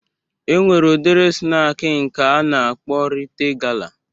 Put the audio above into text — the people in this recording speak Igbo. E nwere udiri snak a na-akpọ Rite gala